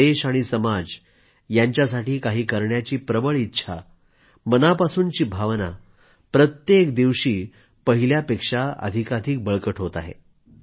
देश आणि समाज यांच्यासाठी काही करण्याची प्रबळ इच्छा मनापासूनची भावना प्रत्येक दिवशी पहिल्यापेक्षा अधिकाधिक बळकट होत आहे